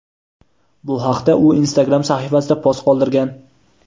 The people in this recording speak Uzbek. Bu haqda u Instagram sahifasida post qoldirgan.